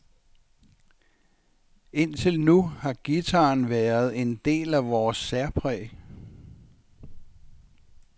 Indtil nu har guitaren været en del af vores særpræg.